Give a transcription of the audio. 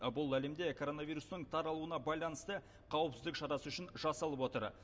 бұл әлемде коронавирустың таралуына байланысты қауіпсіздік шарасы үшін жасалып отыр